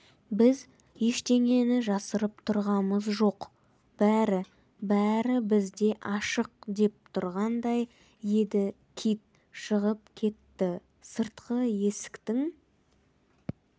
біз ештеңені жасырып тұрғамыз жоқ бәрі-бәрі бізде ашық деп тұрғандай еді кит шығып кетті сыртқы есіктің